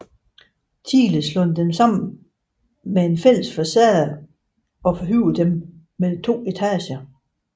Thiele dem slået sammen med en fælles facade og forhøjet dem med to etager